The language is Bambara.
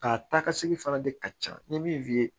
A taa ka segin fana de ka ca n ye min f'i ye